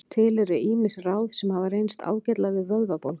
Til eru ýmis ráð sem hafa reynst ágætlega við vöðvabólgu.